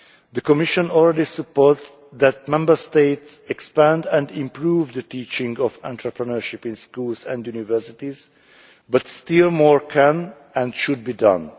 The Commission already supports Member States' expanding and improving the teaching of entrepreneurship in schools and universities, but still more can and should be done.